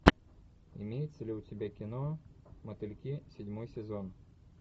имеется ли у тебя кино мотыльки седьмой сезон